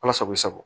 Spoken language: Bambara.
Ala sago i sago